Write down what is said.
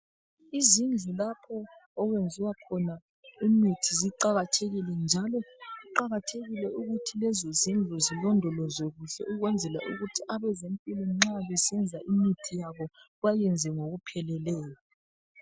Izindlu lapho okwezi wakhona imithi ziqakathekile njalo kuqakathekile ukuthi lezozindlu zilondolozwe kuhle ukwenzela ukuthi abezempilo nxa besenza imithi yabo bayiyenze ngokupheleleyo